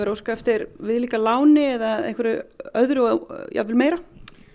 að óska eftir viðlíka láni eða öðru og jafnvel meira